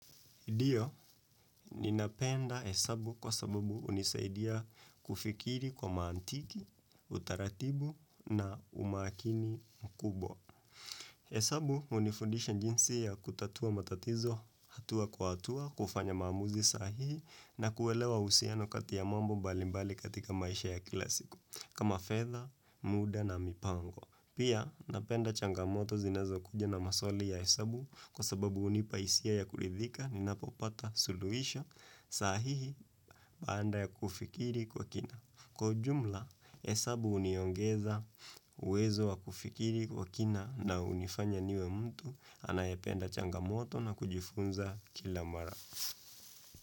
Ndio, ninapenda hesabu kwa sababu hunisaidia kufikiri kwa mantiki, utaratibu na umakini mkubwa. Hesabu, hunifundisha jinsi ya kutatua matatizo, hatua kwa hatua, kufanya maamuzi sahihi, na kuelewa uhusiano kati ya mambo mbalimbali katika maisha ya kila siku, kama fedha, muda na mipango. Pia napenda changamoto zinazokuja na maswali ya hesabu kwa sababu hunipa hisia ya kuridhika ninapopata suluhisho sahihi baada ya kufikiri kwa kina. Kwa ujumla, hesabu huniongeza uwezo wa kufikiri kwa kina na hunifanya niwe mtu anayependa changamoto na kujifunza kila mara.